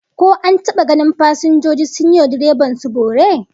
Ko an taba ganin fasinjoji sun yi wa direban su bore?